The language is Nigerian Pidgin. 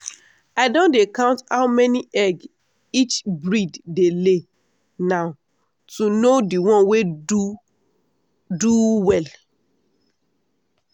i don dey count how many egg each breed dey lay now to know the one wey do do well.